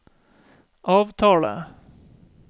avtale